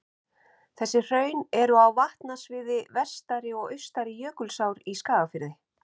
Þessi hraun eru á vatnasviði Vestari- og Austari-Jökulsár í Skagafirði.